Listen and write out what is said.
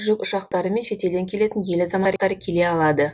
жүк ұшақтары мен шетелден келетін ел азаматтары келе алады